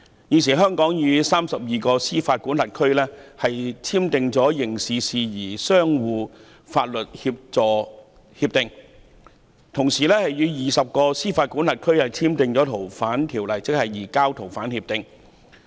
現時香港與32個司法管轄區簽訂了刑事事宜相互法律協助協定，亦與20個司法管轄區簽訂了移交逃犯協定。